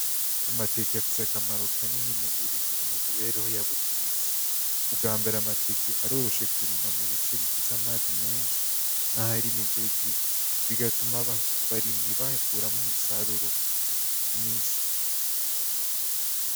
Amateke afise akamaro kanini mu burimyi no mu mibereho ya buri musi, ubwa mbere amateke aroroshe kurima mu bice bifise amazi menshi, nk'ahari imigezi, bigatuma abarimyi bayakuramwo umusaruro mwinshi.